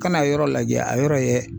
Kana yɔrɔ lajɛ a yɔrɔ ye